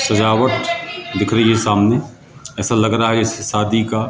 सजावट दिख रही है सामने ऐसा लग रहा है जैसे शादी का--